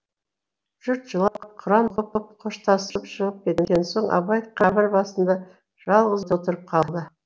жұрт жылап құран оқып қоштасып шығып кеткен соң абай қабір басында жалғыз отырып қалады